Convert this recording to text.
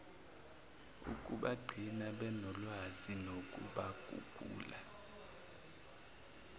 ukubagcina benolwazi nokubaguqula